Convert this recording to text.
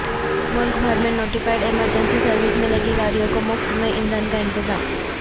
ملک بھر میں notified emergency services میں لگی گاڑیوں کو مفت میں ایندھن کا انتظام